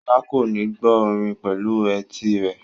Sola kò ní gbọ́ orin pẹ̀lú etí rẹ̀.